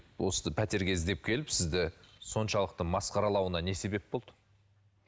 осы пәтерге іздеп келіп сізді соншалықты масқаралауына не себеп болды